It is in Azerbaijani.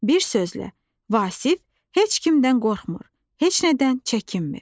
Bir sözlə, Vasif heç kimdən qorxmur, heç nədən çəkinmir.